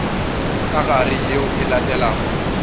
ka gare yeo e latelago